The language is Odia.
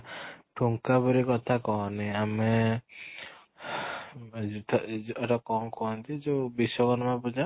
ଠୁଙ୍କା ପୁରି କଥା କହନି ଆମେ ଏଇଟା କ'ଣ କୁହନ୍ତି ଯୋଉ ବିଶ୍ଵକର୍ମା ପୂଜା